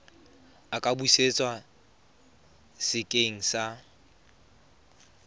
a ka busetswa sekeng sa